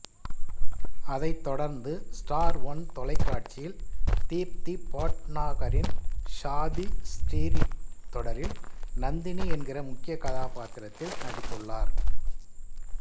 அதைத் தொடர்ந்து Star One தொலைக்காட்சியில் தீப்தி பட்னாகரின் ஷாதி ஸ்டிரீட் தொடரில் நந்தினி என்கிற முக்கிய கதாபாத்திரத்தில் நடித்துள்ளார்